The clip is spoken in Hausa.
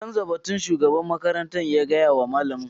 Canza batun shugaban makarantar ya gaya wa malamin.